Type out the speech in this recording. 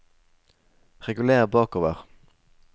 reguler bakover